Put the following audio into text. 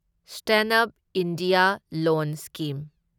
stand up India loan scheme